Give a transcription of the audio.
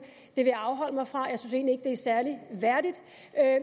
det vil jeg afholde mig fra jeg synes er særlig værdigt